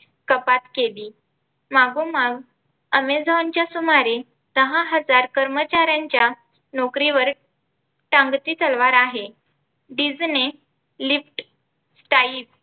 मागोमाग Amazon च्या सुमारे सहा हजार कर्मचाऱ्यांच्या नोकरीवर टांगती तलवार आहे. Disney, Lyft, Skype